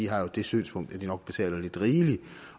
har det synspunkt at de nok betaler lidt rigeligt